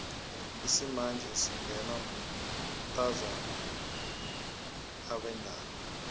lsimanje singenwa matozana vwendako